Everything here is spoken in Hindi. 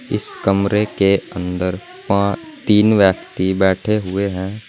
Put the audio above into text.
इस कमरे के अंदर तीन व्यक्ति बैठे हुए हैं।